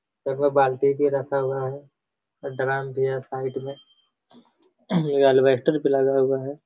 लगभग बाल्टी भी रखा हुआ है और ड्रम भी है साइड में ये एल्वेस्टर पर लगा हुआ है।